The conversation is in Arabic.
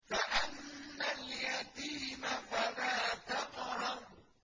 فَأَمَّا الْيَتِيمَ فَلَا تَقْهَرْ